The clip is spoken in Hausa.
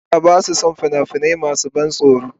Yara ba sa son fina-finai masu ban tsoro.